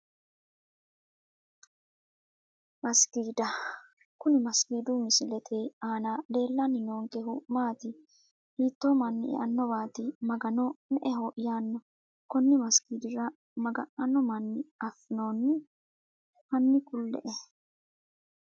Masikiida kuni masikiidu misilete aana leelani noonkehu maati hiito mani eanowaati magano me`eho yaano koni masikiidira maganano mani afinooni hani kule`e?